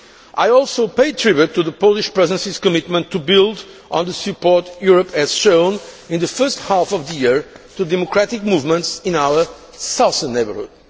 I also pay tribute to the Polish Presidency's commitment to build on the support Europe has shown in the first half of the year to the democratic movements in our southern neighbourhood.